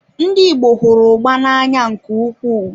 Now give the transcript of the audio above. Ndị Igbo hụrụ ugba na-anya nke ukwuu.